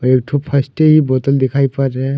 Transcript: एक ठो फस्टी बोतल दिखाई पर रहे हैं।